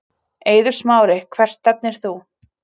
Eiður Smári Hvert stefnir þú?